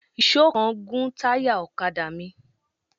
Èèsó kan gún táyà ọ̀kadà mi